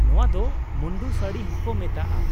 ᱱᱚᱶᱟ ᱫᱚ ᱢᱩᱱᱰᱩ ᱥᱟᱹᱲᱤ ᱦᱚᱸᱠᱚ ᱢᱮᱛᱟᱜᱼᱟ ᱾